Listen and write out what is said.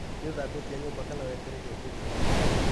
Nĩ ũthambĩtie nyũmba kana wetereire njũke?